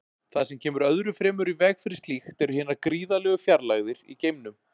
Það sem kemur öðru fremur í veg fyrir slíkt eru hinar gríðarlegu fjarlægðir í geimnum.